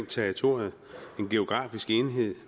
territoriet og en geografisk enhed